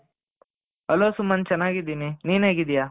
hello Sumanth ಚೆನ್ನಾಗಿದ್ದೀನಿ ನೀನು ಹೇಗಿದ್ದೀಯಾ,